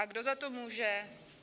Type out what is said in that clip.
A kdo za to může?